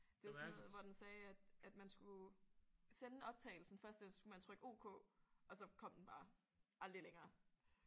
Det var sådan noget hvor den sagde at at man skulle sende optagelsen først og så skulle man trykke OK og så kom den bare aldrig længere